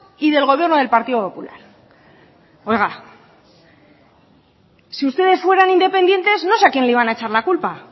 y del gobierno del partido popular oiga si ustedes fueran independientes no sé a quién les iba a echar la culpa